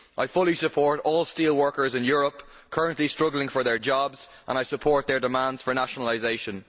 I fully support all steelworkers in Europe currently struggling for their jobs and I support their demands for nationalisation.